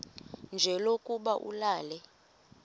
nje lokuba ulale